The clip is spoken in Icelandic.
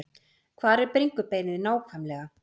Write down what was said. Hvar er bringubeinið nákvæmlega?